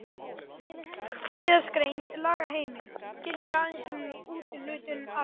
Síðastgreind lagaheimild gildir aðeins um úthlutun arðs.